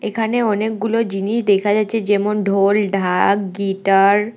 এখানে অনেকগুলো জিনিস দেখা যাচ্চে যেমন ঢোল ঢাকা গিটার ।